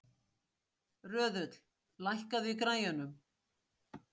Röðull, lækkaðu í græjunum.